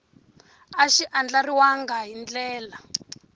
a xi andlariwangi hi ndlela